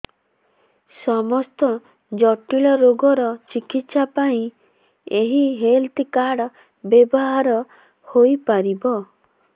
ସମସ୍ତ ଜଟିଳ ରୋଗର ଚିକିତ୍ସା ପାଇଁ ଏହି ହେଲ୍ଥ କାର୍ଡ ବ୍ୟବହାର ହୋଇପାରିବ